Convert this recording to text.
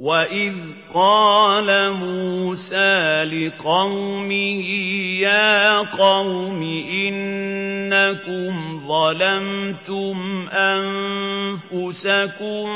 وَإِذْ قَالَ مُوسَىٰ لِقَوْمِهِ يَا قَوْمِ إِنَّكُمْ ظَلَمْتُمْ أَنفُسَكُم